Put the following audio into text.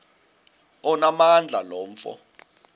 onamandla lo mfo